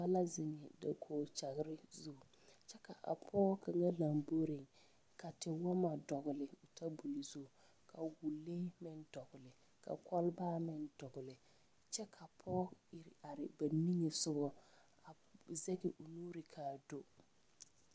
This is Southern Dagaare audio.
Dɔba la ziŋ dakoge kyaŋre zu kyɛ ka a pɔge ka lamboriŋ ka tewɔmɔ dɔgle tabol zu ka wɔlee meŋ dɔgle ka kɔlba meŋ dɔgle kyɛ ka pɔge ere are ba nige sɔgɔ a zɛge o nuri kaa do.